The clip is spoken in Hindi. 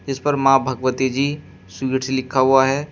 इस पर मां भगवती जी स्वीट्स लिखा हुआ है।